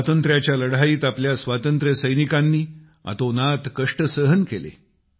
स्वातंत्र्याच्या लढाईत आपल्या स्वातंत्र्यसैनिकांनी अतोनात कष्ट सहन केले